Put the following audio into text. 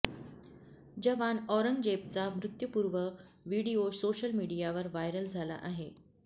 जवान औरंगजेबचा मृत्यूपूर्व व्हिडीओ सोशल मीडियावर व्हायरल झाला आहे